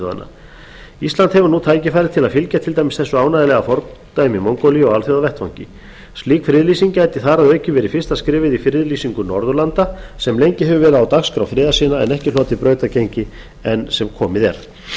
þjóðanna ísland hefur nú tækifæri til að fylgja til dæmis þessu ánægjulega fordæmi mongólíu á alþjóðavettvangi slík friðlýsing gæti þar að auki verið fyrsta skrefið í friðlýsingu norðurlanda sem lengi hefur verið á dagskrá friðarsinna en ekki hlotið brautargengi enn sem komið er mig langar virðulegur